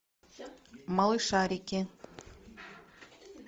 малышарики